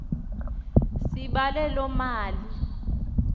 sibale loo mali